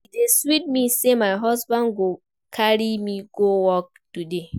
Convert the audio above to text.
E dey sweet me say my husband go carry me go work today